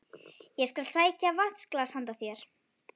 Ég skal sækja vatnsglas handa þér